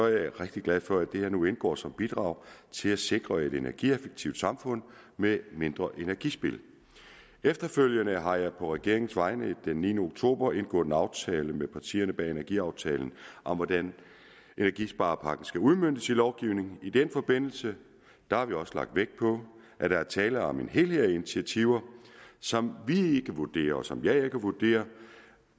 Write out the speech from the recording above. jeg rigtig glad for at det her nu indgår som bidrag til at sikre et energieffektivt samfund med mindre energispild efterfølgende har jeg på regeringens vegne den niende oktober indgået en aftale med partierne bag energiaftalen om hvordan energisparepakken skal udmøntes i lovgivningen i den forbindelse har vi også lagt vægt på at der er tale om en helhed af initiativer som vi vurderer og som jeg ikke vurderer